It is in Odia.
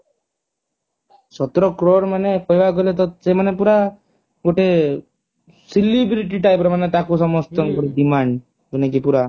ସତର crore ମାନେ କହିବାକୁ ଗଲେ ସେମାନେ ତ ପୁରା ଗୋଟେ celebrity type ର ମାନେ ତାକୁ ସମଷ୍ଟିଙ୍କ ର demand ଯେମିତି ପୁରା